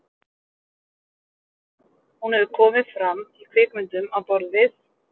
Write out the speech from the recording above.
hún hefur komið fram í kvikmyndum á borð við